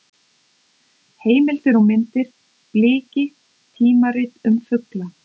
Heimildir og myndir: Bliki: tímarit um fugla.